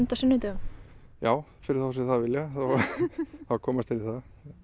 sunnudögum já fyrir þá sem vilja þá komast þeir í það